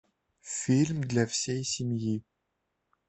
фильм для всей семьи